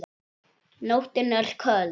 Nóttin er köld.